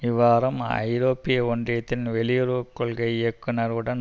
இவ்வாரம் ஐரோப்பிய ஒன்றியத்தின் வெளியுறவு கொள்கை இயக்குனர் உடன்